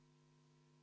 Palun, Jaak Aab!